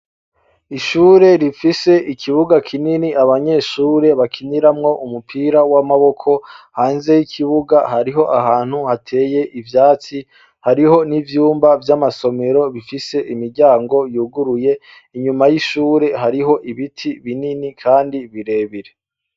Ishure rifise ikibuga kinini abanyeshure bakiniramwo umupira w'amaboko; hanze y'ikibuga hariho ahantu hateye ivyatsi, hariho n'ivyumba vy'amasomero bifise imiryango yuguruye ; inyuma y'ishure hariho ibiti binini kandi birebire.